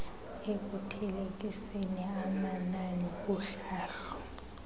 ekuthelekiseni amanani kuhlahlo